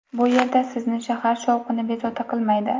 Bu yerda sizni shahar shovqini bezovta qilmaydi.